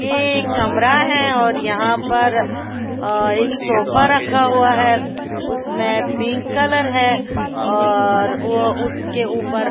ये कमरा है और यहाँ पर अ एक सोफा रखा हुआ है उसमें पिंक कलर है और वो उसके ऊपर --